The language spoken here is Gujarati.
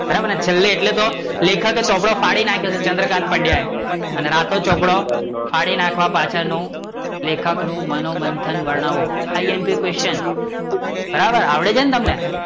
બરાબર ને છેલ્લે એટલે તો લેખકે ચોપડો ફાડી નાખ્યો હતો, ચન્દ્રકાન્ત પંડ્યા એ એન રાતો ચોપડો ફાડી નાખવા પાછળ નું લેખક નું મનોમંથન વર્ણવો impquation બરાબર ને આવડે છે ને તમને